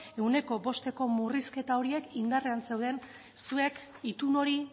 ehuneko bosteko murrizketa horiek indarrean zeuden zuek itun hori